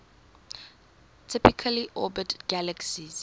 typically orbit galaxies